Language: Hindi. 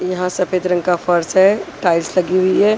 यहां सफेद रंग का फर्श है टाइल्स लगी हुई हैं।